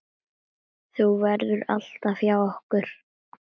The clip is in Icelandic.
Þú verður alltaf hjá okkur.